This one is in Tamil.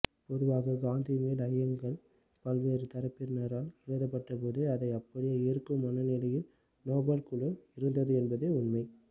பொதுவாக காந்திமேல் ஐயங்கள் பல்வேறு தரப்பினரால் எழுப்பப்பட்டபோது அதை அப்படியே ஏற்கும் மனநிலையில் நோபல் குழு இருந்தது என்பதே உண்மை